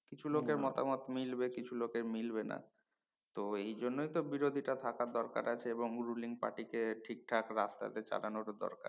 কিছু লোকের মতামত মিলবে কিছু লোকের মিলবে না তো এই জন্যই বিরোধীটা থাকার দরকার আছে এবং ruling পার্টি কে ঠিকঠাক রাস্তাতে চালানোর ও দরকার